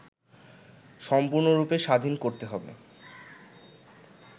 সম্পূর্ণরুপে স্বাধীন করতে হবে